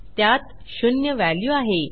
त्यात शून्य व्हॅल्यू आहे